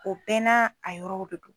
O bɛɛ na a yɔrɔw de do.